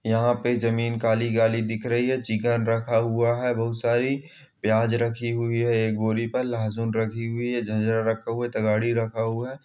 यहाँ पे जमीन काली काली दिख रही हैं चिकन रखा हुआ है बहुत सारी प्याज रखी हुई है एक बोरी पर लहसुन रखी हुई है जिन्जर रखा हुआ हैं तगड़ी रखा हुआ है।